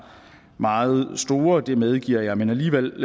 meget store det medgiver jeg men alligevel